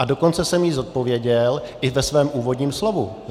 A dokonce jsem ji zodpověděl i ve svém úvodním slovu.